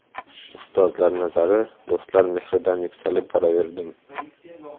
Ustozlar nazari, do‘stlar mehridan yuksalib boraverdim.